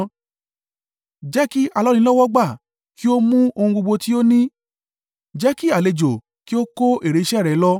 Jẹ́ kí alọ́nilọ́wọ́gbà kí ó mú ohun gbogbo tí ó ní jẹ́ kí àlejò kí o kó èrè iṣẹ́ rẹ̀ lọ.